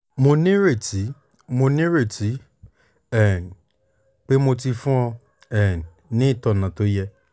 mo ní ìrètí mo ní ìrètí um pé mo ti fún ọ um ní ìtọ́nà tó yẹ